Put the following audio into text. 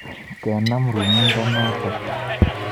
Kenam rumindenotok.